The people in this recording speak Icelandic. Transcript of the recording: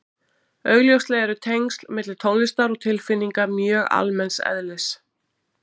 augljóslega eru tengsl milli tónlistar og tilfinninga mjög almenns eðlis